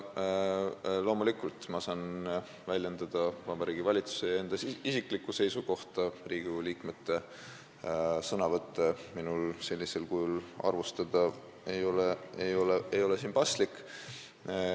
Loomulikult, ma saan väljendada Vabariigi Valitsuse ja enda isiklikku seisukohta, Riigikogu liikmete sõnavõtte minul sellisel kujul arvustada ei ole paslik.